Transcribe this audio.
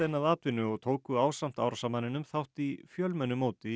að atvinnu og tóku ásamt árásarmanninum þátt í fjölmennu móti í